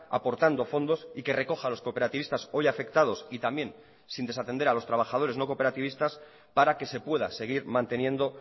aportando fondos y que recoja los cooperativistas hoy afectados y también sin desatender a los trabajadores no cooperativistas para que se pueda seguir manteniendo